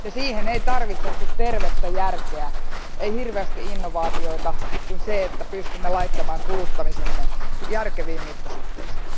Siihen ei tarvitse kuin tervettä järkeä, ei hirveästi innovaatioita, vaan riittää, että pystymme laittamaan kuluttamisemme järkeviin mittasuhteisiin.